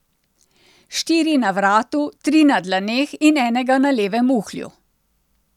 Štiri na vratu, tri na dlaneh in enega na levem uhlju.